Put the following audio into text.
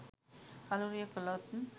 කළුරිය කළොත්